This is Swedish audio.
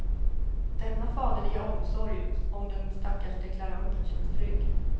Denna faderliga omsorg om den stackars deklaranten känns trygg.